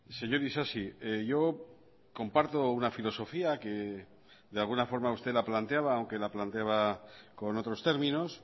señor isasi yo comparto una filosofía que de alguna forma usted la planteaba aunque la planteaba con otros términos